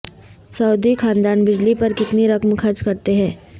سعودی خاندان بجلی پر کتنی رقم خرچ کرتے ہیں